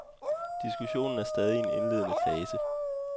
Diskussionen er stadig i en indledende fase.